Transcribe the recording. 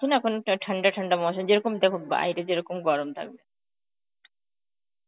ওখান তো ঠান্ডা ঠান্ডা Hindi যেরকম দেখো বাইরে যেরকম গরম থাকবে.